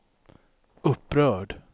upprörd